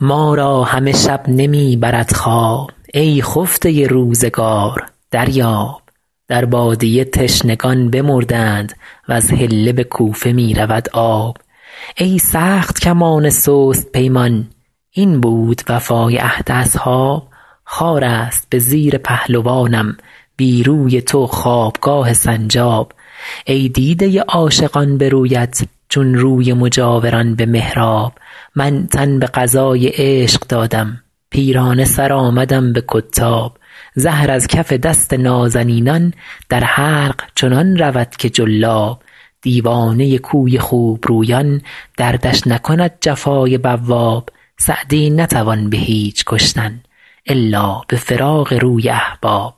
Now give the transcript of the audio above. ما را همه شب نمی برد خواب ای خفته روزگار دریاب در بادیه تشنگان بمردند وز حله به کوفه می رود آب ای سخت کمان سست پیمان این بود وفای عهد اصحاب خار است به زیر پهلوانم بی روی تو خوابگاه سنجاب ای دیده عاشقان به رویت چون روی مجاوران به محراب من تن به قضای عشق دادم پیرانه سر آمدم به کتاب زهر از کف دست نازنینان در حلق چنان رود که جلاب دیوانه کوی خوبرویان دردش نکند جفای بواب سعدی نتوان به هیچ کشتن الا به فراق روی احباب